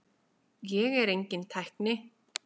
Ég er enginn tækni